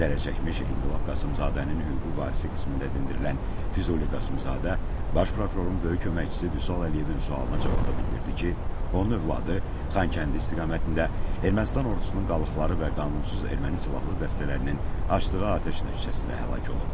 Zərərçəkmiş İnqilab Qasımzadənin hüquqi varisi qismində dindirilən Füzuli Qasımzadə baş prokurorun böyük köməkçisi Vüsal Əliyevin sualına cavabda bildirdi ki, onun övladı Xankəndi istiqamətində Ermənistan ordusunun qalıqları və qanunsuz erməni silahlı dəstələrinin açdığı atəş nəticəsində həlak olub.